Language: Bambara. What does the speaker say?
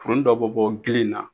Wonnin dɔ bɛ bɔ gilen na